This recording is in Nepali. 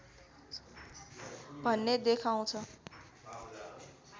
भन्ने देखाउँछ